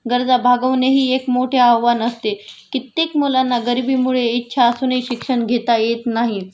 गरजा भागवणेही एक मोठे आवाहन असते.कित्येक मुलांना इच्छा असूनही शिक्षण घेता येत नाही